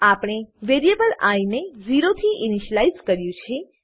આપણે variable I ને 0 થી ઈનીશલાઈઝ કર્યું છે